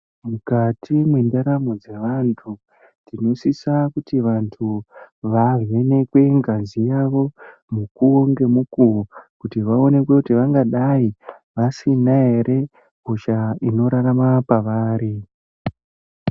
Mukati mwendaramo dzevantu tinosisa kuti vantu vavhenekwe ngazi yavo mukuwo ngemukuwo kuti vaonekwe kuti vangadai vasina here hosha inorarama pavari .